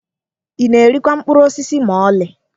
Ị na-erikwa mkpụrụ osisi ma ọlị?